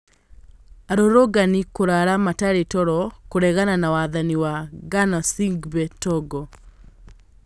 Arũrũngani kũrara matarĩ toro kũregana na wathani wa Gnassingbe Togo